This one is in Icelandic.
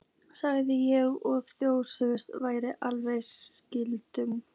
sagði ég og þóttist vera alvarlega skelkuð.